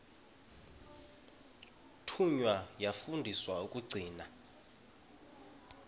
thunywa yafundiswa ukugcina